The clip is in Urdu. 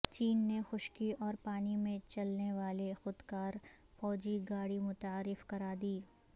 چین نے خشکی اور پانی میں چلنے والی خودکار فوجی گاڑی متعارف کرا دی